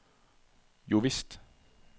jovisst